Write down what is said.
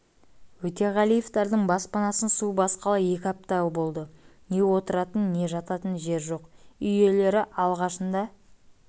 өтеғалиевтердің баспанасын су басқалы екі апта болды не отыратын не жататын жер жоқ үй иелері алғашында